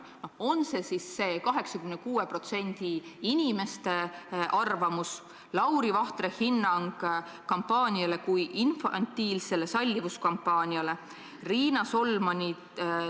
On see siis 86% inimeste arvamus, Lauri Vahtre hinnang kampaaniale kui infantiilsele sallivuskampaaniale?